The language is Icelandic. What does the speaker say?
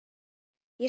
Ég spurði